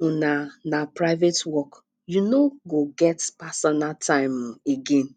um na na private work you no go get pasonal time um again